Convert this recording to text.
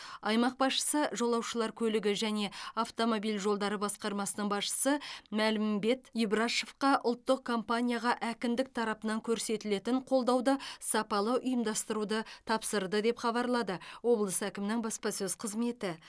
аймақ басшысы жолаушылар көлігі және автомобиль жолдары басқармасының басшысы мәлімбет ибрашовқа ұлттық компанияға әкімдік тарапынан көрсетілетін қолдауды сапалы ұйымдастыруды тапсырды деп хабарлады облыс әкімінің баспасөз қызметі